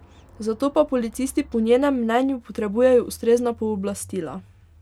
Za to pa policisti po njenem mnenju potrebujejo ustrezna pooblastila.